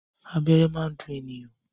Abẹ́rẹ́ máa ń dùn ènìyàn.